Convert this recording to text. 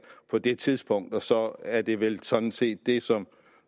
på det tidspunkt så er det vel sådan set det som